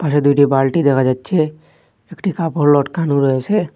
পাশে দুইটি বালটি দেখা যাচ্ছে একটি কাপড় লটকানো রয়েসে।